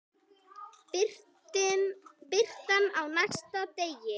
Birtan á næsta degi.